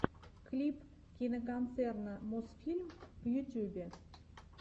клип киноконцерна мосфильм в ютьюбе